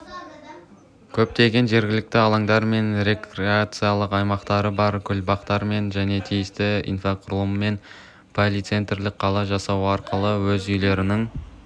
көптеген жергілікті алаңдармен рекреациялық аймақтары бар гүлбақтармен және тиісті инфрақұрылыммен полицентристік қала жасау арқылы өз үйлерінің